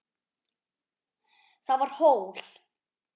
Það var hól.